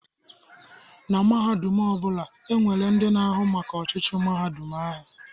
Na mahadum ọ bụla, e nwere ndị na-ahụ maka ọchịchị mahadum ahụ.